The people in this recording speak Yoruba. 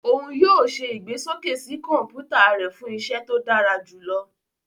Òún yóò ṣe igbesoke sí kọnputa rẹ fun iṣẹ ṣiṣe to dara julọ.